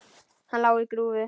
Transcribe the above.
Hann lá á grúfu.